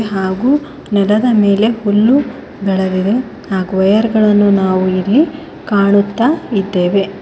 ಹಾಗು ನೆಲದ ಮೇಲೆ ಹುಲ್ಲು ಬೆಳಗಿದೆ ಹಾಗು ವೈರ್ ಗಳನ್ನು ನಾವು ಇಲ್ಲಿ ಕಾಣುತ್ತಾ ಇದ್ದೇವೆ.